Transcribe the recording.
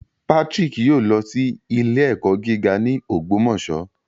Patrick yoo lọ si ile-ẹkọ giga ni Ogbomoso